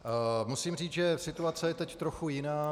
Musím říct, že situace je teď trochu jiná.